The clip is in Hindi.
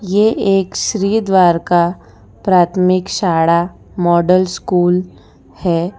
ये एक श्री द्वारिका प्राथमिक शाला मॉडल स्कूल है।